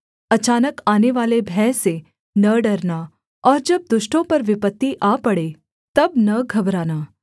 अचानक आनेवाले भय से न डरना और जब दुष्टों पर विपत्ति आ पड़े तब न घबराना